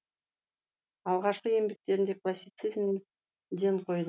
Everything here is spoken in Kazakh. алғашқы еңбектерінде класицизмге ден қойды